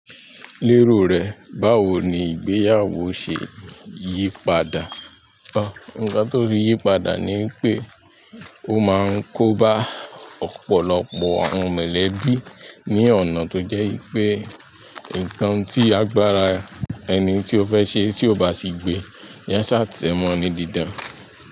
Lero rẹ báwo ni ìgbéyàwó se yípadà nǹkan tó fi yípadà ni pé ó máa ń kóba ọ̀pọ̀lọpọ̀ àwọn mọ̀lẹ́bí ní ọ̀nà tó jẹ́ wipé, nǹkan tí agbára ẹni tí ó fẹ́ ṣe tí ò bá sì gbe, yan ṣà tẹ̀ mọ́ ni dídan.